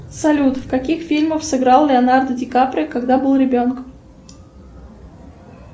салют в каких фильмах сыграл леонардо ди каприо когда был ребенком